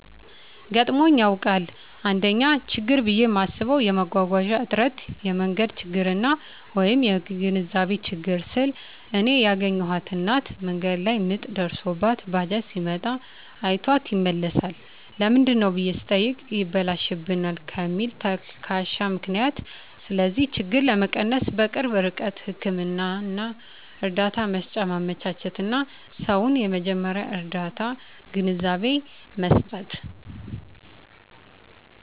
ገጥሞኝ ያዉቃል: 1ኛ :ችግር ብየ ማስበዉ የመጓጓዣ እጥረት የመንገድ ችግርና : (የግንዛቤ ችግር) ስል እኔ ያገኘኋት እናት መንገድ ላይ ምጥ ደርሶባት ባጃጅ ሲመጣ አይቷት ይመለሳል ለምንድነው ብየ ስጠይቅ ይበላሽብናል ከሚል ተልካሻ ምክንያት ስለዚህ ችግር ለመቀነስ_በቅርብ ርቀት ህክምና እርዳታ መሰጫ ማመቻቸትና: ሰዉን የመጀመርያ ርዳታ ግንዛቤ መስጠት።